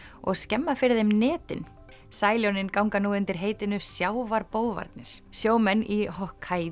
og skemma fyrir þeim netin sæljónin ganga nú undir heitinu sjávarbófarnir sjómenn í